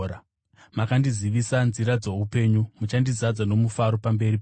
Makandizivisa nzira dzoupenyu; muchandizadza nomufaro pamberi penyu.’